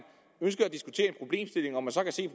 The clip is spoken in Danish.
så kan se